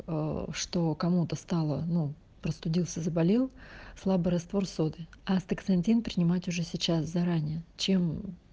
что кому-то стало ну простудился заболел слабый раствор соды а астаксантин принимать уже сейчас заранее чем